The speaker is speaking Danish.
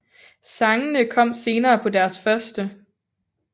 Sangene kom senere på deres første